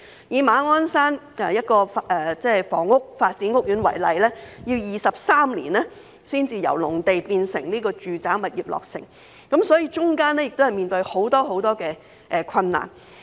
以馬鞍山一個房屋發展屋苑為例，要23年才由農地變成住宅物業，其間面對很多困難。